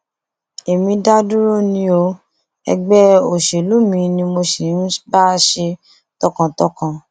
èmi dá dúró ni o ẹgbẹ òṣèlú mi ni mo sì ń bá ṣe tọkàntọkàn